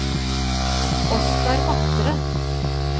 Oskar Matre